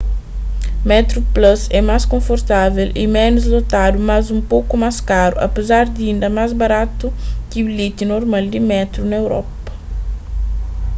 metroplus é más konfortável y ménus lotadu mas un poku más karu apézar di inda más baratu ki bilheti normal di métru na europa